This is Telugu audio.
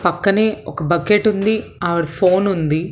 పక్కనే ఒక బకెట్ ఉంది ఆవిడ ఫోన్ ఉంది.